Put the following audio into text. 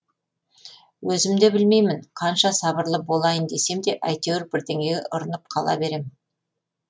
өзім де білмеймін қанша сабырлы болайын десем де әйтеуір бірдеңеге ұрынып қала берем